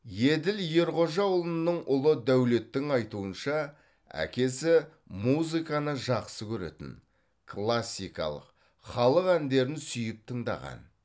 еділ ерғожаұлының ұлы дәулеттің айтуынша әкесі музыканы жақсы көретін классикалық халық әндерін сүйіп тыңдаған